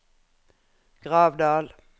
Gravdal